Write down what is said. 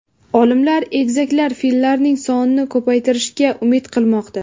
Olimlar egizaklar fillarning sonini ko‘paytirishiga umid qilmoqda.